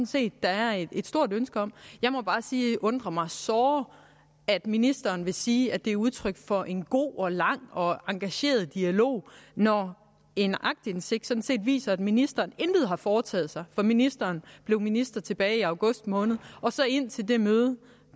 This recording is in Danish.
set der er et stort ønske om jeg må bare sige at det undrer mig såre at ministeren vil sige at det er udtryk for en god og lang og engageret dialog når en aktindsigt sådan set viser at ministeren intet har foretaget sig for ministeren blev minister tilbage i august måned indtil det møde